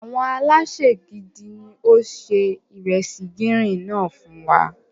Àwọn alésè gidi ní ó se ìresì gírín-ìn náà fún.